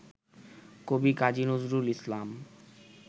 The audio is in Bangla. কবি কাজী নজরুল ইসলাম